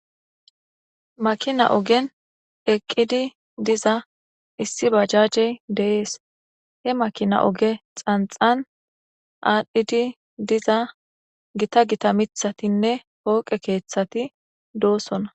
Makina ogen eqidi diza isi bajaje de7es.he makina oge xanxan adhidi diza gita gita miththatinne fooqe keththati dosona.